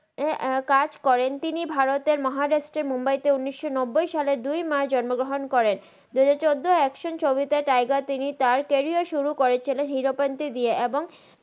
কাজ করেন তিনি ভারতের মাহারাস্ত্রের মুম্বাই তে উনিস নাব্বাই সালে দুই মার্চ জন্ম গ্রাহান করেন দুহাজার চদ্দই অ্যাকশান ছবিতে তিগের তিনি তার ক্যারিয়ার সুরু করেন হের পান্তি দিএ এবং